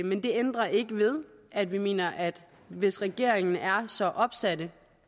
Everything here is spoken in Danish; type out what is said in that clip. men det ændrer ikke ved at vi mener at hvis regeringen er så opsat